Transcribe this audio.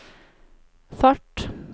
fart